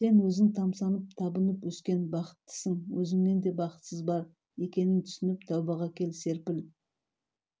сен өзің тамсанып табынып өскен бақыттысың өзіңнен де бақытсыз бар екенін түсініп тәубаға кел серпіл